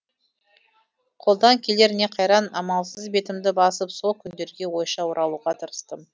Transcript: қолдан келер не қайран амалсыз бетімді басып сол күндерге ойша оралуға тырыстым